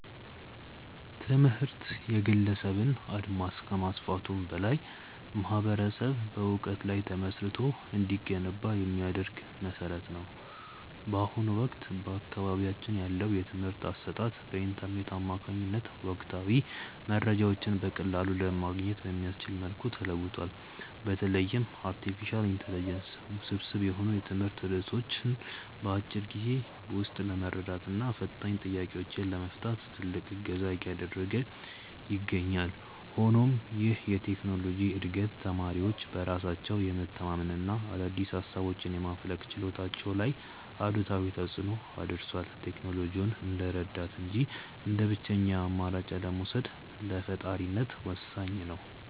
ትምህርት የግለሰብን አድማስ ከማስፋቱም በላይ ማኅበረሰብ በዕውቀት ላይ ተመስርቶ እንዲገነባ የሚያደርግ መሠረት ነው። በአሁኑ ወቅት በአካባቢያችን ያለው የትምህርት አሰጣጥ በኢንተርኔት አማካኝነት ወቅታዊ መረጃዎችን በቀላሉ ለማግኘት በሚያስችል መልኩ ተለውጧል። በተለይም አርቲፊሻል ኢንተለጀንስ ውስብስብ የሆኑ የትምህርት ርዕሶችን በአጭር ጊዜ ውስጥ ለመረዳትና ፈታኝ ጥያቄዎችን ለመፍታት ትልቅ እገዛ እያደረገ ይገኛል። ሆኖም ይህ የቴክኖሎጂ ዕድገት ተማሪዎች በራሳቸው የመተንተንና አዳዲስ ሃሳቦችን የማፍለቅ ችሎታቸው ላይ አሉታዊ ተፅእኖ አድርሷል። ቴክኖሎጂውን እንደ ረዳት እንጂ እንደ ብቸኛ አማራጭ አለመውሰድ ለፈጣሪነት ወሳኝ ነው።